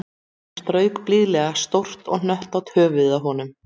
Hún strauk blíðlega stórt og hnöttótt höfuðið á honum